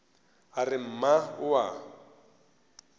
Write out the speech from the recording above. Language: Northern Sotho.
a re mma o a